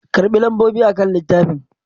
Karɓi lambobi akan littafin!